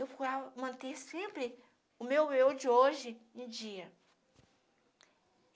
Eu procurava manter sempre o meu eu de hoje em dia.